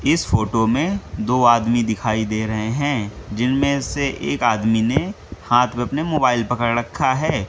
इस फोटो में दो आदमी दिखाई दे रहे हैं जिनमें से एक आदमी ने हाथ में अपने मोबाइल पकड़ रखा है।